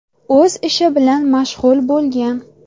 o‘z ishi bilan mashg‘ul bo‘lgan.